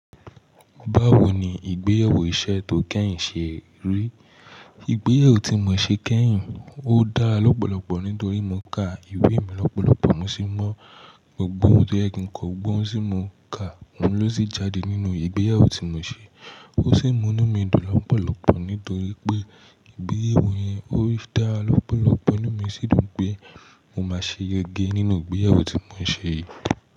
Báwo ni ìgbéyàwó iṣẹ́ tó kẹ́yìn ṣe rí? Ìgbéyàwó tí mo ṣe kẹ́yìn, ó dára lọ́pọ̀lọpọ̀ nítorí mo ka ìwé mi lọ́pọ̀lọpọ̀, mo sì mọ gbogbo ohun tó yẹ kí n kọ, gbogbo ohun tí mo kà, òun ló sì jáde nínú ìgbéyàwó tí mo ṣe. Ó sì mú inú mi dùn lọ́pọ̀lọpọ̀ nítorí pé ìgbéyàwó yẹn, ó dára lọ́pọ̀lọpọ̀. Inú mi sì dùn pé mo máa ṣe yege nínú ìgbéyàwó tí mo ṣe yìí.